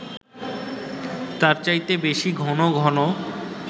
তার চাইতে বেশি ঘন ঘন